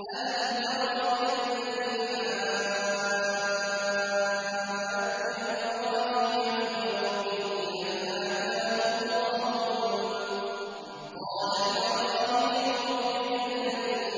أَلَمْ تَرَ إِلَى الَّذِي حَاجَّ إِبْرَاهِيمَ فِي رَبِّهِ أَنْ آتَاهُ اللَّهُ الْمُلْكَ إِذْ قَالَ إِبْرَاهِيمُ رَبِّيَ